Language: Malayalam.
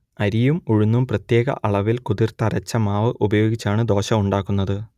അരിയും ഉഴുന്നും പ്രത്യേക അളവിൽ കുതിർത്തരച്ച മാവ് ഉപയോഗിച്ചാണ് ദോശ ഉണ്ടാക്കുന്നത്